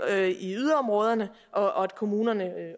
i yderområderne og at kommunerne